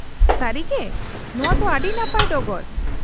-ᱥᱟᱹᱨᱤᱜᱮ ? ᱱᱚᱶᱟ ᱛᱚ ᱟᱹᱰᱤ ᱱᱟᱯᱟᱭ ᱰᱚᱜᱚᱨ ᱾